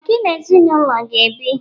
Ọ gị na-ezinụlọ ga bi?